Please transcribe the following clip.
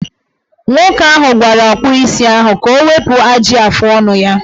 Nwoke ahụ gwara ọkpụisi ahụ ka o wepu ajị afọọnụ ya.